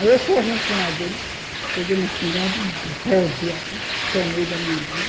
Aí eu corri em cima dele, peguei na espingarda e rodei assim, tomei da mão dele.